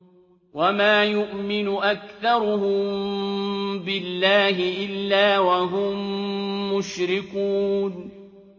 وَمَا يُؤْمِنُ أَكْثَرُهُم بِاللَّهِ إِلَّا وَهُم مُّشْرِكُونَ